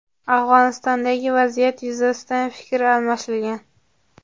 Afg‘onistondagi vaziyat yuzasidan fikr almashilgan.